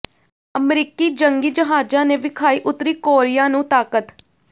ਅਮਰੀਕੀ ਜੰਗੀ ਜਹਾਜ਼ਾਂ ਨੇ ਵਿਖਾਈ ਉੱਤਰੀ ਕੋਰੀਆ ਨੂੰ ਤਾਕਤ